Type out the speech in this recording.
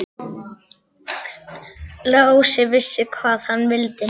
Lási vissi hvað hann vildi.